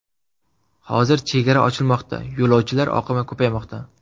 Hozir chegara ochilmoqda, yo‘lovchilar oqimi ko‘paymoqda.